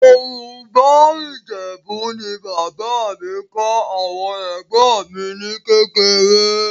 Yorùbá Ìjẹ̀bú ni bàbá mi kọ́ àwọn ẹ̀gbọ́n mi ní kékeré